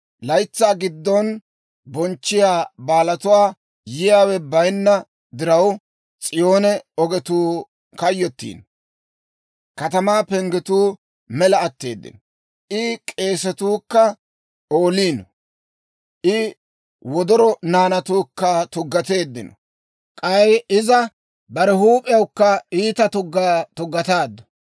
Laytsaa giddon bonchchiyaa baalatuwaa yiyaawe bayinna diraw, S'iyoone ogetuu kayyottiino. Katamaa penggetuu mela atteeddino; I k'eesatuu kka ooliino. I wodoro naanatuukka tuggateeddino; k'ay iza bare huup'iyawukka iita tuggaa tuggataaddu.